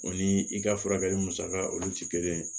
O ni i ka furakɛli musaka olu ti kelen ye